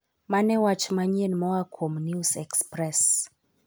mane wach manyien moa kuom news express